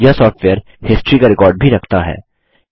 यह software history का record भी रखता है